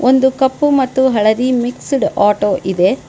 ಒಂದು ಕಪ್ಪು ಮತ್ತು ಹಳದಿ ಮಿಕ್ಸ್ಡ್ ಆಟೋ ಇದೆ.